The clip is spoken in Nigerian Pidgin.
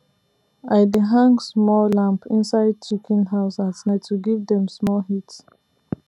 i dey hang small lamp inside chicken house at night to give dem small heat